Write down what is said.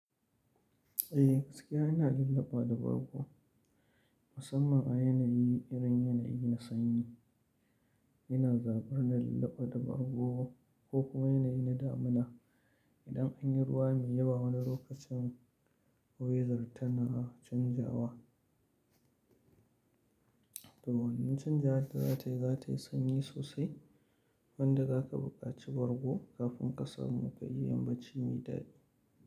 Eh gaskiya ina lullaba da bargo, musamman a yanayi irin yanayi na sanyi. Ina zabar na lullaba da bargo ko kuma yanayi na damina. Idan anyi ruwa mai yawa wani lokacin, weather tana canjawa. Toh wannan canjawar da zatayi, zatayi sanyi sosai wanda zaka buƙaci bargo kafin ka samu kayi yambaci mai ɗadi.